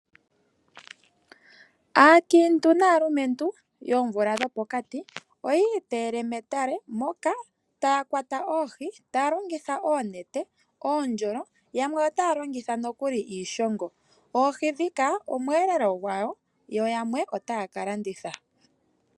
Aakiintu naalumentu yoomuvula dhopokati, oyiiteele metale moka taya kwata oohi taya longitha oonete ,oondjolo yamwe otaya longitha nokuli iishongo, oohi ndhika omweelelo gwawo yo yamwe otaya ka landitha.